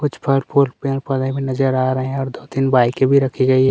कुछ पार्क उर्क पेड़ - पोधे भी नजर आ रहे है और दो तीन बाइके भी रखी गयी है।